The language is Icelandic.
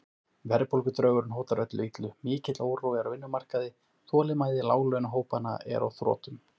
Verðbólgudraugurinn hótar öllu illu, mikill órói er á vinnumarkaði, þolinmæði láglaunahópanna er á þrotum.